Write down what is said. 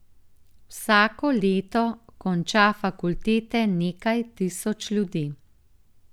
Vsako leto konča fakultete nekaj tisoč ljudi.